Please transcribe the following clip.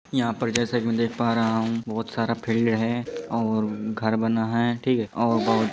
यहाँ पर जैसे की मैं देख पा रहा हूं बहुत सारा फील्ड है और घर बना है ठीक है। और ब --